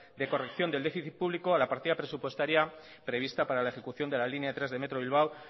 de corrección del déficit público a la partida presupuestaria prevista para la ejecución de la línea tres de metro bilbao